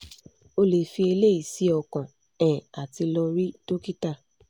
o le fi eleyi si okan um ati lo ri dokita